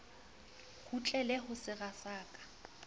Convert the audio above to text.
kgutlele ho sera sa ka